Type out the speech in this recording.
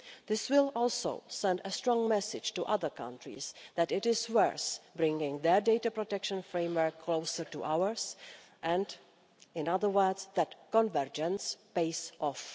This will also send a strong message to other countries that it is worth bringing their data protection framework closer to ours and, in other words, that convergence pays off.